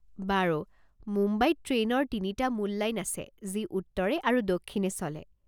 বাৰু, মুম্বাইত ট্ৰেইনৰ তিনিটা মূল লাইন আছে যি উত্তৰে আৰু দক্ষিণে চলে।